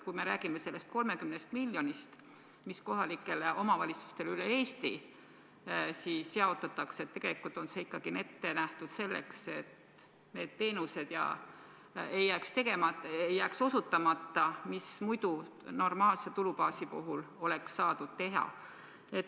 Kui me räägime sellest 30 miljonist, mis kohalikele omavalitsustele üle Eesti jaotatakse, siis tegelikult on see ikkagi ette nähtud selleks, et need teenused ei jääks osutamata, mida normaalse tulubaasi puhul oleks saanud osutada.